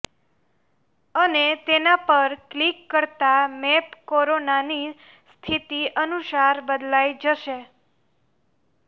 અને તેના પર ક્લિક કરતાં મેપ કોરોનાની સ્થિતિ અનુસાર બદલાઈ જશે